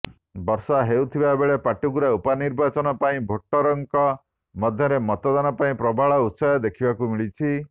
ବର୍ଷା ହେଉଥିବା ବେଳେ ପାଟକୁରା ଉପନିର୍ବାଚନ ପାଇଁ ଭୋଟରଙ୍କ ମଧ୍ୟରେ ମତଦାନ ପାଇଁ ପ୍ରବଳ ଉତ୍ସାହ ଦେଖିବାକୁ ମିଳିଛି